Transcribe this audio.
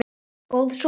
Góð súpa